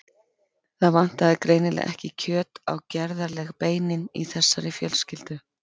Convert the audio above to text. Það vantaði greinilega ekki kjöt á gerðarleg beinin í þessari fjölskyldu.